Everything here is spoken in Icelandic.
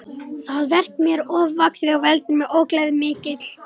Það verk er mér ofvaxið og veldur mér ógleði mikilli.